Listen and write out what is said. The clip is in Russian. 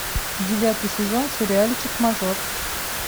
девятый сезон сериальчик мажор